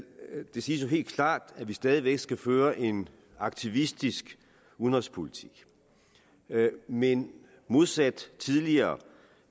det siges jo helt klart at vi stadig væk skal føre en aktivistisk udenrigspolitik men modsat tidligere